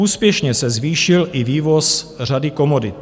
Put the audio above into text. Úspěšně se zvýšil i vývoz řady komodit.